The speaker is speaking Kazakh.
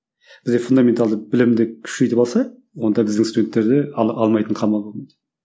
бізде фундаменталды білімді күшейтіп алса онда біздің студенттерде алмайтын қамалы қалмайды